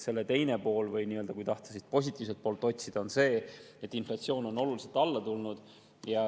Selle teine pool, kui tahta nii-öelda positiivset poolt otsida, on see, et inflatsioon on oluliselt alla tulnud.